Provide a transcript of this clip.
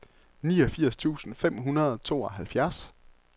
niogfirs tusind fem hundrede og tooghalvfjerds